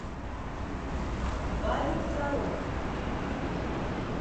павел фролов